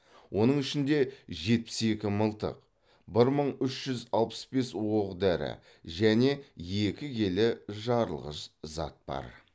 оның ішінде жетпіс екі мылтық бір мың үш жүз алпыс бес оқ дәрі және екі келі жарылғыш зат бар